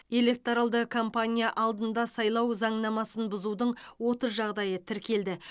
электоралды кампания алдында сайлау заңнамасын бұзудың отыз жағдайы тіркелді